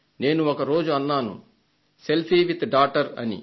నేను ఒక రోజు అన్నాను సెల్ఫీ విత్ డాటర్ అని